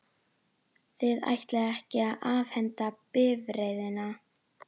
Þið ætlið ekki að afhenda bifreiðina?